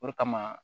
O de kama